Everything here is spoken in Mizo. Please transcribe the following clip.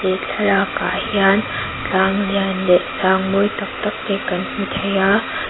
he thlalak ah hian tlang lian leh sang mawi tak tak te kan hmu thei a--